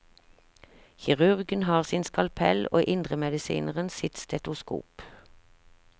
Kirurgen har sin skalpell og indremedisineren sitt stetoskop.